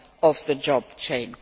of the job chain.